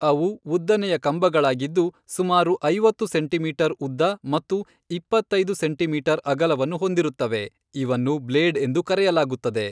ಅವು ಉದ್ದನೆಯ ಕಂಬಗಳಾಗಿದ್ದು, ಸುಮಾರು ಐವತ್ತು ಸೆಂಟಿಮೀಟರ್ ಉದ್ದ ಮತ್ತು ಇಪ್ಪತ್ತೈದು ಸೆಂಟಿಮೀಟರ್ ಅಗಲವನ್ನು ಹೊಂದಿರುತ್ತವೆ, ಇವನ್ನು ಬ್ಲೇಡ್ ಎಂದು ಕರೆಯಲಾಗುತ್ತದೆ.